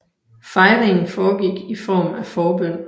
Fejringen foregik i form af forbøn